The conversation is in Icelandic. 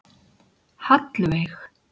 Hallveig